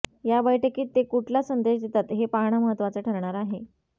या बैठकीत ते कुठला संदेश देतात हे पाहणं महत्त्वाचं ठरणार आहे